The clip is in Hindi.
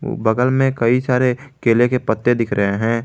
बगल में कई सारे केले के पत्ते दिख रहे हैं।